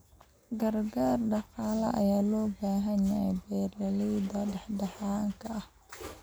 Gargaar dhaqaale ayaa loo baahan yahay beeralayda dhexdhexaadka ah.